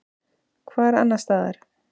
Hvar annars staðar?